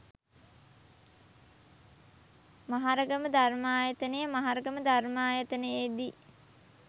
මහරගම ධර්මායතනය මහරගම ධර්මායතනයේ දී